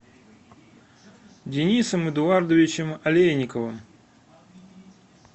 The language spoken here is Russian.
денисом эдуардовичем алейниковым